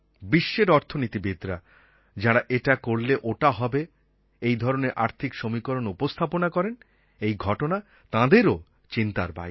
বিশ্বের অর্থনীতিবিদ্রা যাঁরা এটা করলে ওটা হবে এই ধরনের আর্থিক সমীকরণ উপস্থাপনা করেন এই ঘটনা তাঁদেরও চিন্তার বাইরে